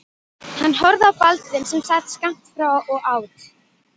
Hann horfði á Baldvin sem sat skammt frá og át.